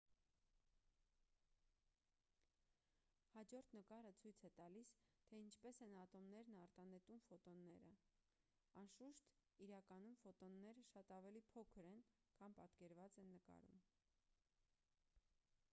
հաջորդ նկարը ցույց է տալիս թե ինչպես են ատոմներն արտանետում ֆոտոնները անշուշտ իրականում ֆոտոնները շատ ավելի փոքր են քան պատկերված են նկարում